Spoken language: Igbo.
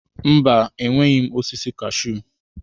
Mba, enweghị m osisi kashuu